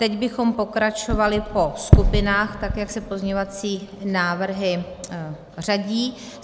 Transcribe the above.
Teď bychom pokračovali po skupinách, tak jak se pozměňovací návrhy řadí.